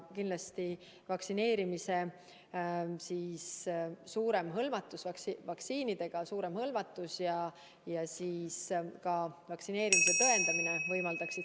Kindlasti võimaldaks seda laialdasem vaktsineerimine ja ka vaktsineerimise tõendamine.